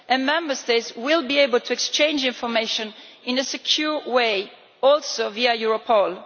Member States will be able to exchange information in a secure way, also via Europol.